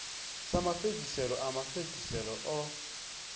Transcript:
sa mafhedziselo a mafhedziselo o